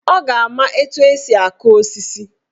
Ọ ga-ama etu esi aku osisi.